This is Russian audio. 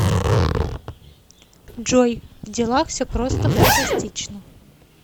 джой в делах все просто фантастично